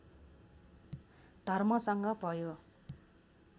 धर्मसँग भयो